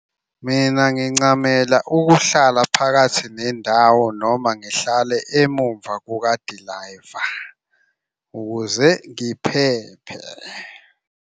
Mina ngincamela ukuhlala phakathi nendawo noma ngihlale emumva kukadilayiva ukuze ngiphephe.